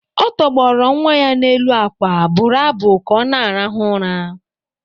Ọ tọgbọrọ nwa ya n’elu akwa, bụrụ abụ ka ọ na-arahụ ụra